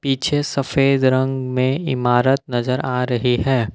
पीछे सफेद रंग में इमारत नजर आ रही है।